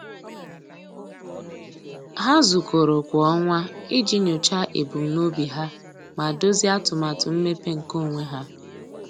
Há zùkọ́rọ́ kwa ọnwa iji nyòcháá ebumnobi ha ma dòzìé atụmatụ mmepe nke onwe ha.